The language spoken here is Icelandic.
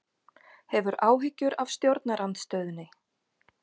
Hefur áhyggjur af stjórnarandstöðunni